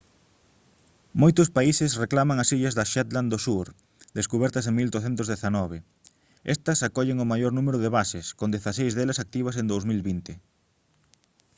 moitos países reclaman as illas das shetland do sur descubertas en 1819 estas acollen o maior número de bases con dezaseis delas activas en 2020